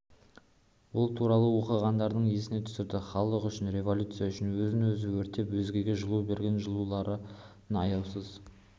ол туралы оқығандарын еске түсірді халық үшін революция үшін өзін-өзі өртеп өзгеге жылу берген жауларын аяусыз